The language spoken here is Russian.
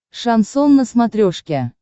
шансон на смотрешке